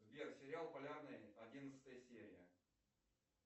сбер сериал полярный одиннадцатая серия